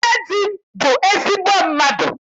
Nne di m bụ ezigbo mmadụ.